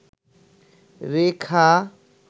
রেখা